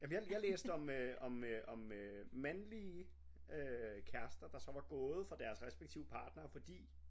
Jamen jeg jeg læste om øh om øh om øh mandlige øh kærester der så var gået fra deres respektive partnere fordi